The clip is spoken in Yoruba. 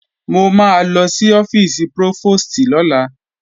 Mo máa lọ sí ọ́fíìsì prófòstì lọ́la